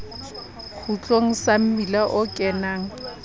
kgutlong sa mmila o kenang